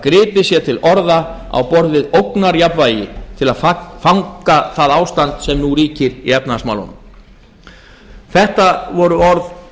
gripið sé til orða á borð við ógnarjafnvægi til að fanga það ástand sem nú ríkir í efnahagsmálunum þetta voru orð